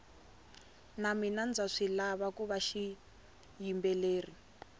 na mina ndza swilava kuva xiyimbeleri